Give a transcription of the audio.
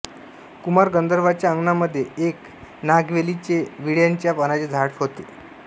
कुमार गंधर्वांच्या अंगणामध्ये एक नागवेलीचेविड्याच्या पानाचे झाड होते